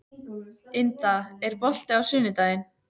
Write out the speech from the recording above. Inda, er bolti á sunnudaginn?